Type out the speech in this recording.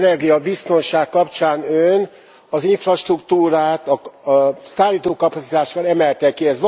Az energiabiztonság kapcsán Ön az infrastruktúrát, a szállítókapacitást emelte ki.